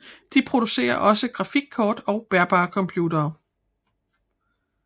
De producerer også grafikkort og bærbare computere